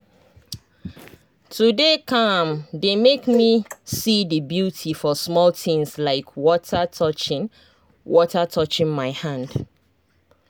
to dey calm dey make me see the beauty for small things like water touching water touching my hand.